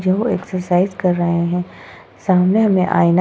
जो एक्सरसाइज कर रहे हैं सामने में आए --